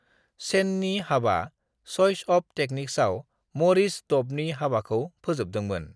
सेननि हाबा 'चइच अफ टेक्निक्स'आव मरिस ड'बनि हाबाखौ फोजोबदोंमोन।